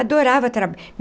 Adorava